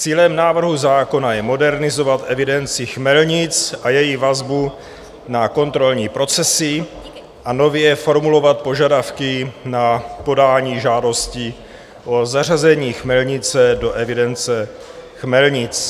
Cílem návrhu zákona je modernizovat evidenci chmelnic a její vazbu na kontrolní procesy a nově formulovat požadavky na podání žádosti o zařazení chmelnice do evidence chmelnic.